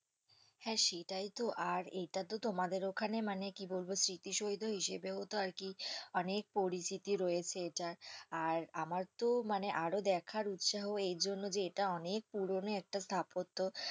হ্যাঁ সেটাই তো আর এটাতো তোমাদের ওখানে মানে কি বলবো স্মৃতিসৌধ হিসেবেও তো আর কি অনেক পরিচিতি রয়েছে এটার আর আমার তো আরো দেখার উৎসাহ এইজন্য যে এটা অনেক পুরনো একটা স্থাপত্য।